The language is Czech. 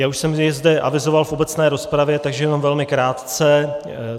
Já už jsem je zde avizoval v obecné rozpravě, takže jenom velmi krátce.